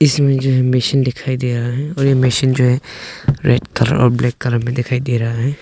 इसमें जो ये मशीन दिखाई दे रहा है और ये मशीन जो है रेड कलर और ब्लैक कलर में दिखाई दे रहा है।